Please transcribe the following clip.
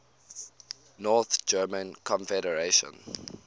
north german confederation